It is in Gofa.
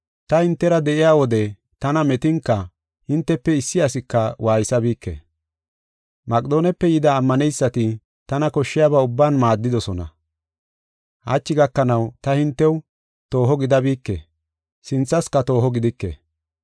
Ta hintera de7iya wode tana metinka hintefe issi asika waaysabike. Maqedoonepe yida ammaneysati tana koshshiyaba ubban maaddidosona. Hachi gakanaw ta hintew tooho gidabike sinthaska tooho gidike.